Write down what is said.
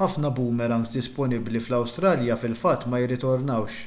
ħafna boomerangs disponibbli fl-awstralja fil-fatt ma jirritornawx